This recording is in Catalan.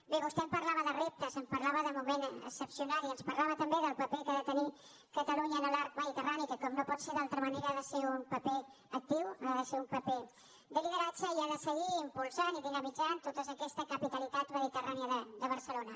bé vostè ens parlava de reptes ens parlava de moment excepcional i ens parlava també del paper que ha de tenir catalunya en l’arc mediterrani que com no pot ser d’altra manera ha de ser un paper actiu ha de ser un paper de lideratge i ha de seguir impulsant i dinamitzant tota aquesta capitalitat mediterrània de barcelona